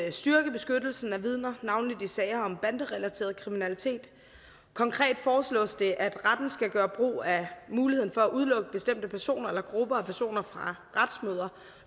at styrke beskyttelsen af vidner navnlig i sager om banderelateret kriminalitet konkret foreslås det at retten skal gøre brug af muligheden for at udelukke bestemte personer eller grupper af personer fra retsmøder